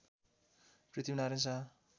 Prithvi Narayan Shah